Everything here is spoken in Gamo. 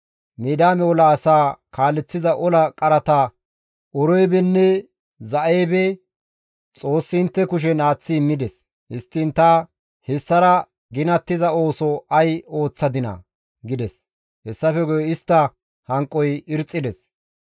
Midiyaame ola asaa kaaleththiza ola qarata Oreebenne Za7eebe Xoossi intte kushen aaththi immides. Histtiin ta hessara ginattiza ooso ay ooththadinaa?» gides; hessafe guye istta hanqoy irxxides.